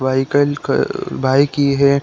Vehicle की bike ये है।